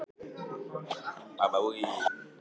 Kannski kemur eitthvað upp á borðið og kannski ekki.